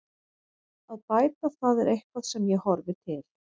Að bæta það er eitthvað sem ég horfi til.